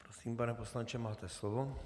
Prosím, pane poslanče, máte slovo.